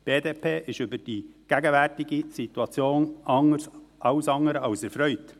Die BDP ist über die gegenwärtige Situation alles andere als erfreut.